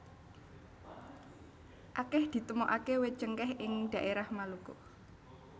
Akèh ditemokaké wit cengkèh ing dhaérah Maluku